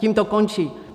Tím to končí.